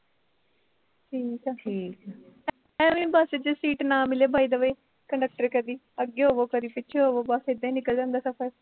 ਠੀਕ ਆ ਅਵੇ ਈ ਬਸ ਚ ਸੀਟ ਨਾ ਮਿਲੇ ਵਾਈਦੇ ਵੇ conductor ਕਦੀ ਅੱਗੇ ਹੋਵੋ ਕਦੀ ਪਿੱਛੇ ਹੋਵੋ ਬਸ ਇਦਾਂ ਈ ਨਿਕਲ ਜਾਂਦਾ ਸਫ਼ਰ